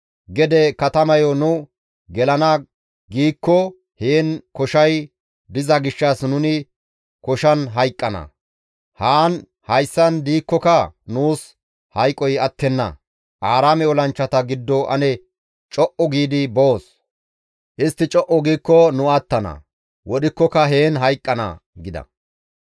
Gede katamayo nu gelana giikko heen koshay diza gishshas nuni koshan hayqqana; haan hayssan diikkoka nuus hayqoy attenna; Aaraame olanchchata giddo ane co7u giidi boos; istti co7u giikko nu attana; wodhikkoka heen hayqqana» gida.